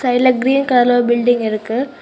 சைடுல கிரீன் கலர்ல ஒரு பில்டிங் இருக்கு.